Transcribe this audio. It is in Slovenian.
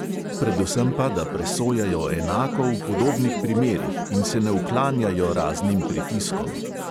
Predvsem pa, da presojajo enako v podobnih primerih in se ne uklanjajo raznim pritiskom.